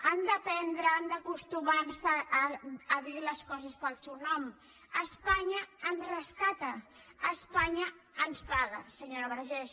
han d’aprendre han d’acostumar se a dir les coses pel seu nom espanya ens rescata espanya ens paga senyora vergés